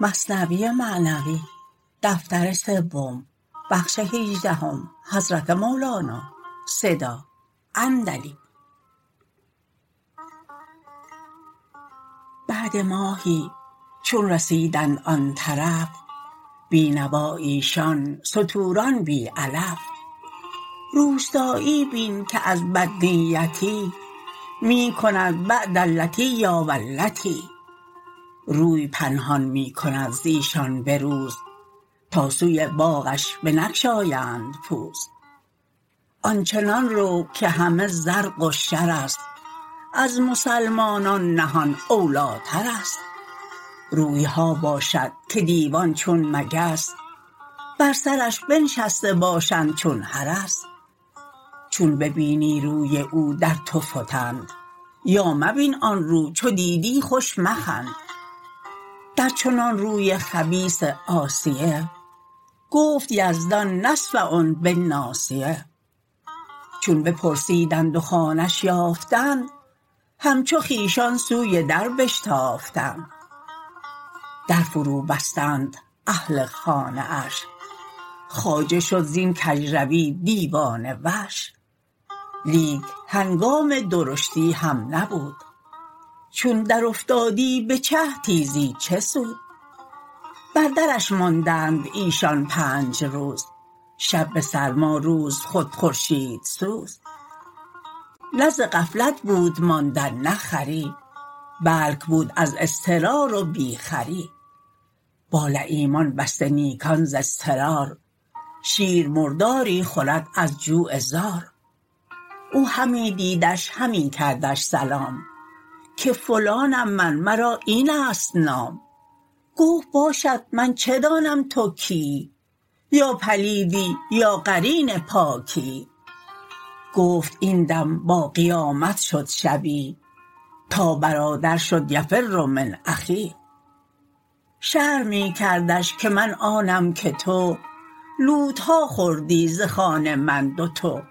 بعد ماهی چون رسیدند آن طرف بی نوا ایشان ستوران بی علف روستایی بین که از بدنیتی می کند بعد اللتیا والتی روی پنهان می کند زیشان به روز تا سوی باغش بنگشایند پوز آنچنان رو که همه زرق و شرست از مسلمانان نهان اولیترست رویها باشد که دیوان چون مگس بر سرش بنشسته باشند چون حرس چون ببینی روی او در تو فتند یا مبین آن رو چو دیدی خوش مخند در چنان روی خبیث عاصیه گفت یزدان نسفعن بالناصیه چون بپرسیدند و خانه ش یافتند همچو خویشان سوی در بشتافتند در فرو بستند اهل خانه اش خواجه شد زین کژروی دیوانه وش لیک هنگام درشتی هم نبود چون در افتادی به چه تیزی چه سود بر درش ماندند ایشان پنج روز شب به سرما روز خود خورشیدسوز نه ز غفلت بود ماندن نه خری بلک بود از اضطرار و بی خری با لییمان بسته نیکان ز اضطرار شیر مرداری خورد از جوع زار او همی دیدش همی کردش سلام که فلانم من مرا اینست نام گفت باشد من چه دانم تو کیی یا پلیدی یا قرین پاکیی گفت این دم با قیامت شد شبیه تا برادر شد یفر من اخیه شرح می کردش که من آنم که تو لوتها خوردی ز خوان من دوتو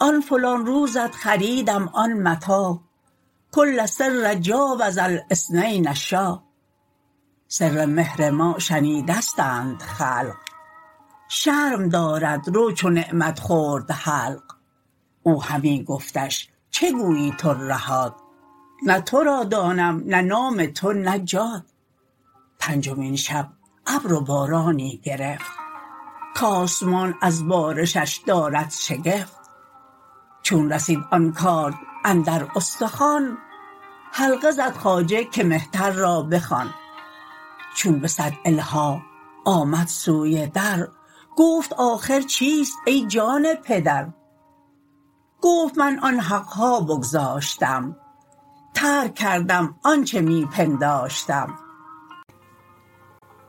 آن فلان روزت خریدم آن متاع کل سر جاوز الاثنین شاع سر مهر ما شنیدستند خلق شرم دارد رو چو نعمت خورد حلق او همی گفتش چه گویی ترهات نه تو را دانم نه نام تو نه جات پنجمین شب ابر و بارانی گرفت کاسمان از بارشش دارد شگفت چون رسید آن کارد اندر استخوان حلقه زد خواجه که مهتر را بخوان چون به صد الحاح آمد سوی در گفت آخر چیست ای جان پدر گفت من آن حقها بگذاشتم ترک کردم آنچ می پنداشتم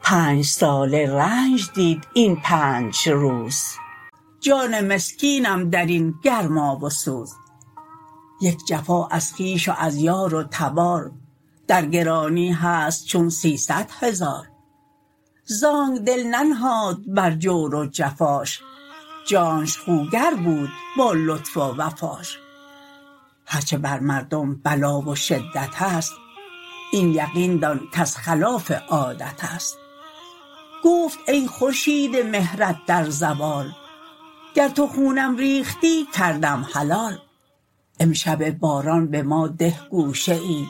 پنج ساله رنج دیدم پنج روز جان مسکینم درین گرما و سوز یک جفا از خویش و از یار و تبار در گرانی هست چون سیصد هزار زانک دل ننهاد بر جور و جفاش جانش خوگر بود با لطف و وفاش هرچه بر مردم بلا و شدتست این یقین دان کز خلاف عادتست گفت ای خورشید مهرت در زوال گر تو خونم ریختی کردم حلال امشب باران به ما ده گوشه ای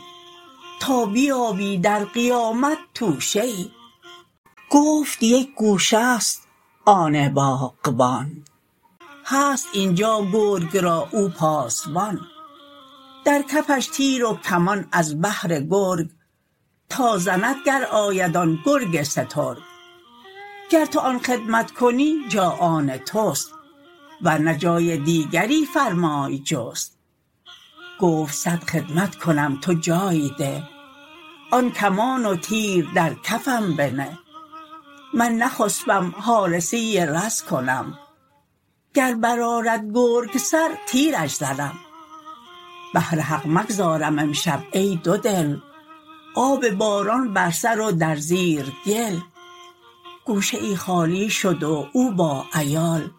تا بیابی در قیامت توشه ای گفت یک گوشه ست آن باغبان هست اینجا گرگ را او پاسبان در کفش تیر و کمان از بهر گرگ تا زند گر آید آن گرگ سترگ گر تو آن خدمت کنی جا آن تست ورنه جای دیگری فرمای جست گفت صد خدمت کنم تو جای ده آن کمان و تیر در کفم بنه من نخسپم حارسی رز کنم گر بر آرد گرگ سر تیرش زنم بهر حق مگذارم امشب ای دودل آب باران بر سر و در زیر گل گوشه ای خالی شد و او با عیال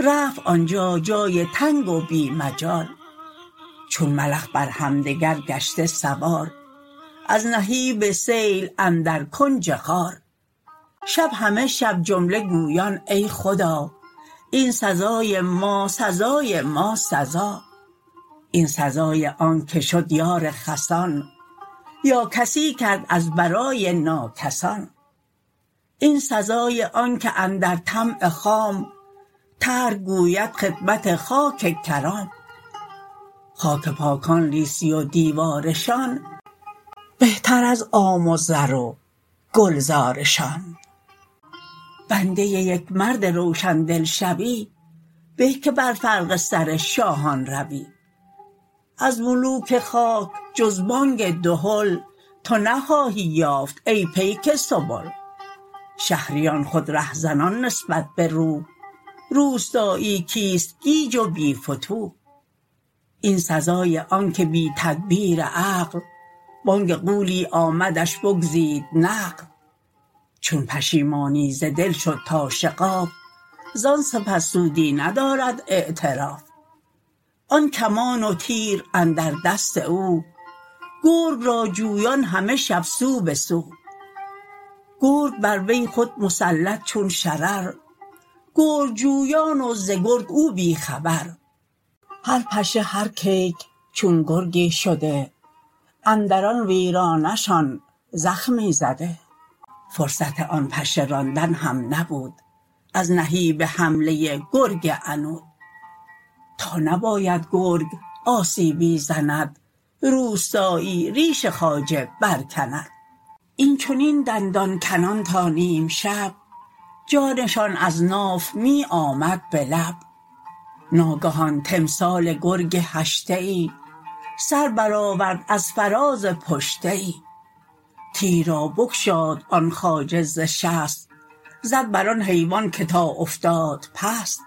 رفت آنجا جای تنگ و بی مجال چون ملخ بر همدگر گشته سوار از نهیب سیل اندر کنج غار شب همه شب جمله گویان ای خدا این سزای ما سزای ما سزا این سزای آنک شد یار خسان یا کسی کرد از برای ناکسان این سزای آنک اندر طمع خام ترک گوید خدمت خاک کرام خاک پاکان لیسی و دیوارشان بهتر از عام و رز و گلزارشان بنده یک مرد روشن دل شوی به که بر فرق سر شاهان روی از ملوک خاک جز بانگ دهل تو نخواهی یافت ای پیک سبل شهریان خود ره زنان نسبت به روح روستایی کیست گیج و بی فتوح این سزای آنک بی تدبیر عقل بانگ غولی آمدش بگزید نقل چون پشیمانی ز دل شد تا شغاف زان سپس سودی ندارد اعتراف آن کمان و تیر اندر دست او گرگ را جویان همه شب سو بسو گرگ بر وی خود مسلط چون شرر گرگ جویان و ز گرگ او بی خبر هر پشه هر کیک چون گرگی شده اندر آن ویرانه شان زخمی زده فرصت آن پشه راندن هم نبود از نهیب حمله گرگ عنود تا نباید گرگ آسیبی زند روستایی ریش خواجه بر کند این چنین دندان کنان تا نیمشب جانشان از ناف می آمد به لب ناگهان تمثال گرگ هشته ای سر بر آورد از فراز پشته ای تیر را بگشاد آن خواجه ز شست زد بر آن حیوان که تا افتاد پست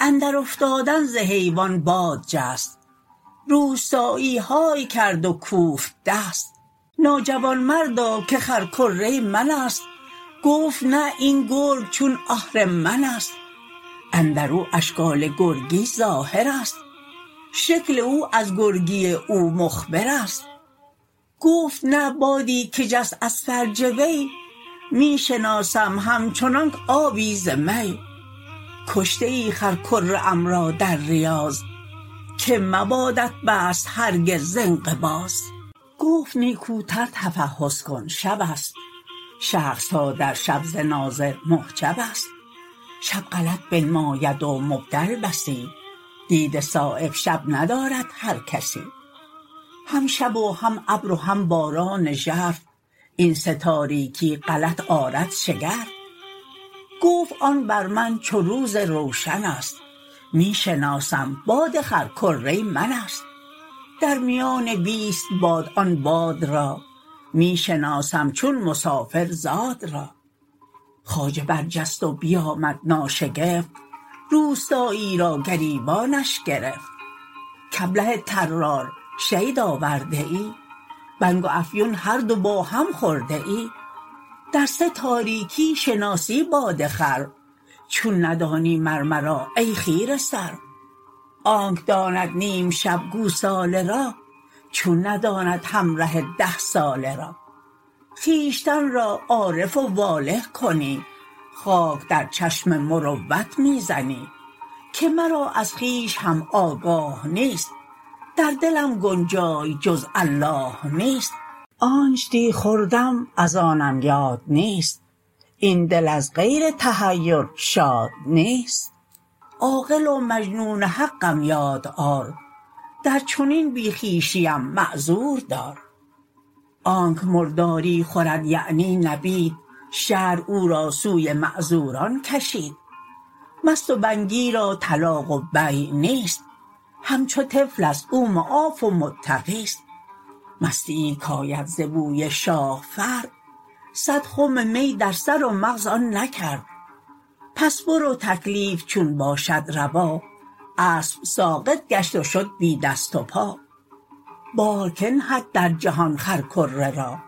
اندر افتادن ز حیوان باد جست روستایی های کرد و کوفت دست ناجوامردا که خرکره منست گفت نه این گرگ چون آهرمنست اندرو اشکال گرگی ظاهرست شکل او از گرگی او مخبرست گفت نه بادی که جست از فرج وی می شناسم همچنانک آبی ز می کشته ای خرکره ام را در ریاض که مبادت بسط هرگز ز انقباض گفت نیکوتر تفحص کن شبست شخصها در شب ز ناظر محجبست شب غلط بنماید و مبدل بسی دید صایب شب ندارد هر کسی هم شب و هم ابر و هم باران ژرف این سه تاریکی غلط آرد شگرف گفت آن بر من چو روز روشنست می شناسم باد خرکره منست در میان بیست باد آن باد را می شناسم چون مسافر زاد را خواجه بر جست و بیامد ناشکفت روستایی را گریبانش گرفت کابله طرار شید آورده ای بنگ و افیون هر دو با هم خورده ای در سه تاریکی شناسی باد خر چون ندانی مر مرا ای خیره سر آنک داند نیمشب گوساله را چون نداند همره ده ساله را خویشتن را عارف و واله کنی خاک در چشم مروت می زنی که مرا از خویش هم آگاه نیست در دلم گنجای جز الله نیست آنچ دی خوردم از آنم یاد نیست این دل از غیر تحیر شاد نیست عاقل و مجنون حقم یاد آر در چنین بی خویشیم معذور دار آنک مرداری خورد یعنی نبید شرع او را سوی معذوران کشید مست و بنگی را طلاق و بیع نیست همچو طفلست او معاف و معتقیست مستیی کاید ز بوی شاه فرد صد خم می در سر و مغز آن نکرد پس برو تکلیف چون باشد روا اسب ساقط گشت و شد بی دست و پا بار کی نهد در جهان خرکره را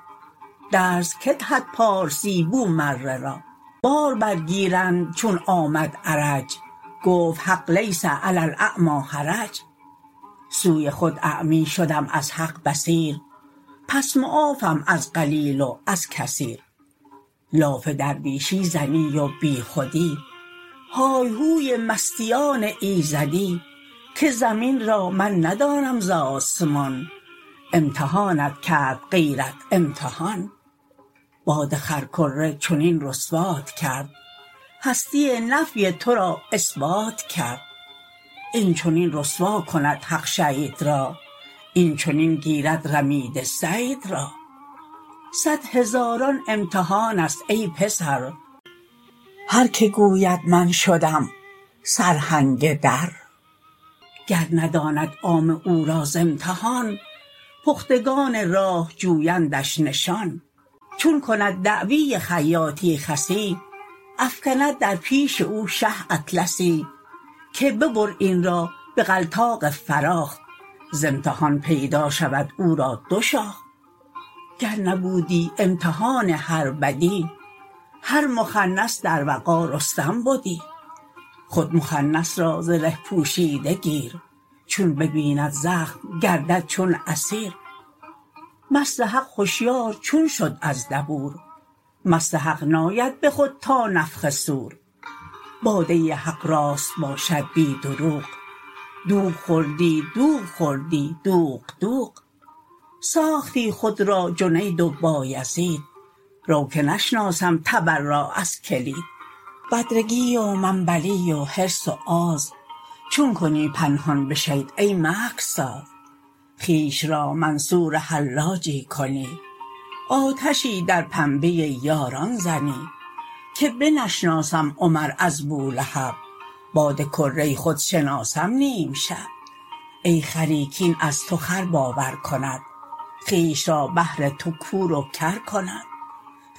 درس کی دهد پارسی بومره را بار بر گیرند چون آمد عرج گفت حق لیس علی الاعمی حرج سوی خود اعمی شدم از حق بصیر پس معافم از قلیل و از کثیر لاف درویشی زنی و بی خودی های هوی مستیان ایزدی که زمین را من ندانم ز آسمان امتحانت کرد غیرت امتحان باد خرکره چنین رسوات کرد هستی نفی تو را اثبات کرد این چنین رسوا کند حق شید را این چنین گیرد رمیده صید را صد هزاران امتحانست ای پسر هر که گوید من شدم سرهنگ در گر نداند عامه او را ز امتحان پختگان راه جویندش نشان چون کند دعوی خیاطی خسی افکند در پیش او شه اطلسی که ببر این را بغلطاق فراخ ز امتحان پیدا شود او را دو شاخ گر نبودی امتحان هر بدی هر مخنث در وغا رستم بدی خود مخنث را زره پوشیده گیر چون ببیند زخم گردد چون اسیر مست حق هشیار چون شد از دبور مست حق ناید به خود تا نفخ صور باده حق راست باشد بی دروغ دوغ خوردی دوغ خوردی دوغ دوغ ساختی خود را جنید و بایزید رو که نشناسم تبر را از کلید بدرگی و منبلی و حرص و آز چون کنی پنهان بشید ای مکرساز خویش را منصور حلاجی کنی آتشی در پنبه یاران زنی که بنشناسم عمر از بولهب باد کره خود شناسم نیمشب ای خری کین از تو خر باور کند خویش را بهر تو کور و کر کند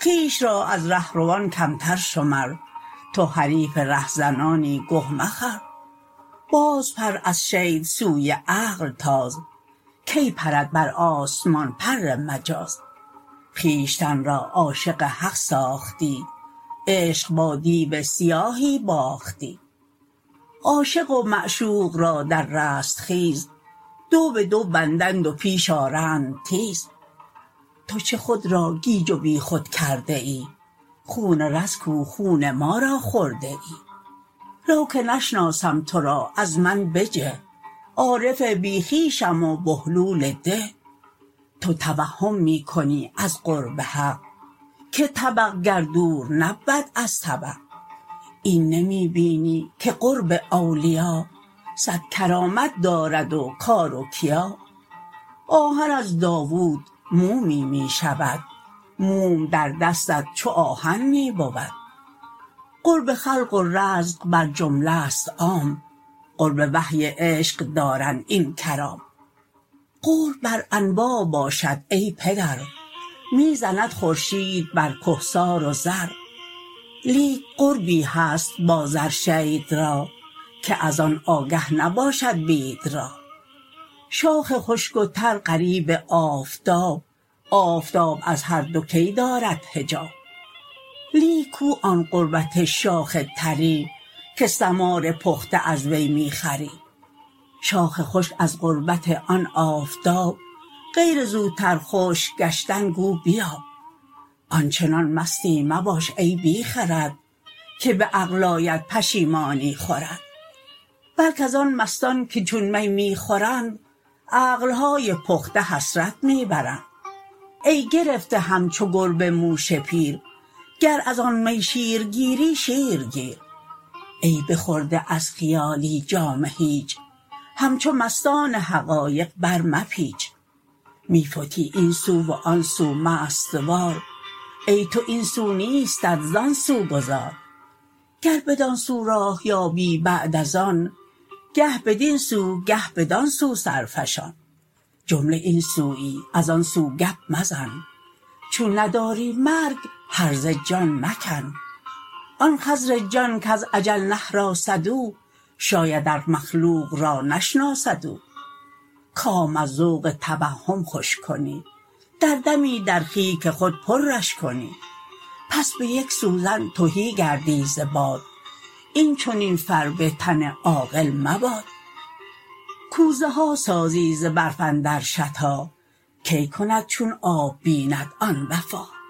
خویش را از ره روان کمتر شمر تو حریف ره ریانی گه مخور بازپر از شید سوی عقل تاز کی پرد بر آسمان پر مجاز خویشتن را عاشق حق ساختی عشق با دیو سیاهی باختی عاشق و معشوق را در رستخیز دو بدو بندند و پیش آرند تیز تو چه خود را گیج و بی خود کرده ای خون رز کو خون ما را خورده ای رو که نشناسم تو را از من بجه عارف بی خویشم و بهلول ده تو توهم می کنی از قرب حق که طبق گر دور نبود از طبق این نمی بینی که قرب اولیا صد کرامت دارد و کار و کیا آهن از داوود مومی می شود موم در دستت چو آهن می بود قرب خلق و رزق بر جمله ست عام قرب وحی عشق دارند این کرام قرب بر انواع باشد ای پدر می زند خورشید بر کهسار و زر لیک قربی هست با زر شید را که از آن آگه نباشد بید را شاخ خشک و تر قریب آفتاب آفتاب از هر دو کی دارد حجاب لیک کو آن قربت شاخ طری که ثمار پخته از وی می خوری شاخ خشک از قربت آن آفتاب غیر زوتر خشک گشتن گو بیاب آنچنان مستی مباش ای بی خرد که به عقل آید پشیمانی خورد بلک از آن مستان که چون می می خورند عقلهای پخته حسرت می برند ای گرفته همچو گربه موش پیر گر از آن می شیرگیری شیر گیر ای بخورده از خیالی جام هیچ همچو مستان حقایق بر مپیچ می فتی این سو و آن سو مست وار ای تو این سو نیستت زان سو گذار گر بدان سو راه یابی بعد از آن گه بدین سو گه بدان سو سر فشان جمله این سویی از آن سو گپ مزن چون نداری مرگ هرزه جان مکن آن خضرجان کز اجل نهراسد او شاید ار مخلوق را نشناسد او کام از ذوق توهم خوش کنی در دمی در خیک خود پرش کنی پس به یک سوزن تهی گردی ز باد این چنین فربه تن عاقل مباد کوزه ها سازی ز برف اندر شتا کی کند چون آب بیند آن وفا